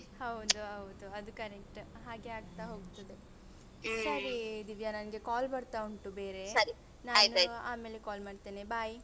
ಹೌದು ಹೌದು ಅದು correct ಹಾಗೆ ಆಗ್ತಾ ಹೋಗ್ತದೆ. ದಿವ್ಯ ನಂಗೆ call ಬರ್ತಾ ಉಂಟು ಆಮೇಲೆ call ಮಾಡ್ತೇನೆ bye.